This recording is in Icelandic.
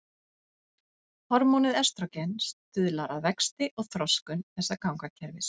Hormónið estrógen stuðlar að vexti og þroskun þessa gangakerfis.